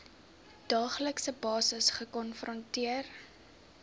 daaglikse basis gekonfronteer